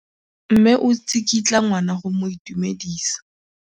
Mme o tsikitla ngwana go mo itumedisa.